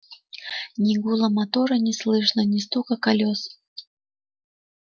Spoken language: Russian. ни гула мотора не слышно ни стука колёс